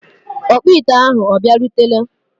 ọkpụ ite ahụ ọ bịarutela?